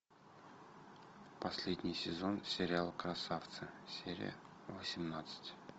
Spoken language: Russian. последний сезон сериал красавцы серия восемнадцать